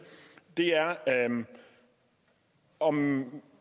er om